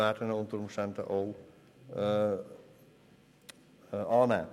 Sie werden ihn unter Umständen annehmen.